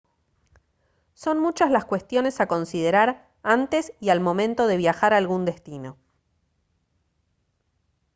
son muchas las cuestiones a considerar antes y al momento de viajar a algún destino